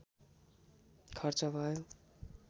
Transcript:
खर्च भयो